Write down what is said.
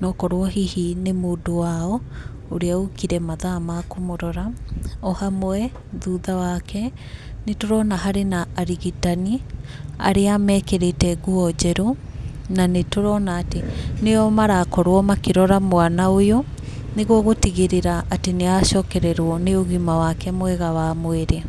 nokorwo hihi nĩ mũndũ wao, ũrĩa ũkire mathaa ma kũmũrora. O hamwe, thutha wake, nĩ tũrona harĩ na arigitani, arĩa mekĩrĩte nguo njerũ, na nĩ tũrona atĩ nĩo marakorwo makĩrora mwana ũyũ, nĩguo gũtigĩrĩra atĩ nĩ acokererwo nĩ ũgima wake mwega wa mwĩrĩ.